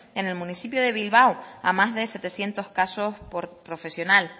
en el municipio de bilbao a más de setecientos casos por profesional